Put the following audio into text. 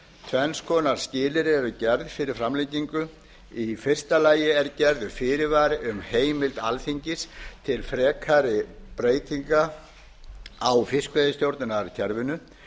tvenns konar skilyrði eru gerð fyrir framlengingu í fyrsta lagi er gerður fyrirvari um heimild alþingis til frekari breytinga á fiskveiðistjórnarkerfinu